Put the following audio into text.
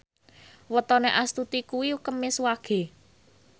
wetone Astuti kuwi Kemis Wage